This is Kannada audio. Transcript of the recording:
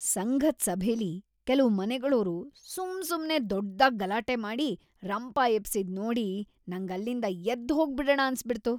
ಸಂಘದ್ ಸಭೆಲಿ ಕೆಲ್ವು ಮನೆಗಳೋರು ಸುಮ್ಸುಮ್ನೆ ದೊಡ್ದಾಗ್ ಗಲಾಟೆ ಮಾಡಿ ರಂಪ ಎಬ್ಸಿದ್ ನೋಡಿ ನಂಗ್‌ ಅಲ್ಲಿಂದ ಎದ್ದ್‌ ಹೋಗ್ಬಿಡಣ ಅನ್ಸ್‌ಬಿಡ್ತು.